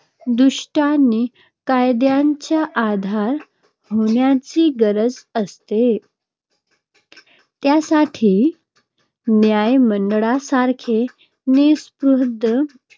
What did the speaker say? दृष्टीने कायद्याच्या आधारे होण्याची गरज असते, त्यासाठी न्यायमंडळासारख्या निःस्पृह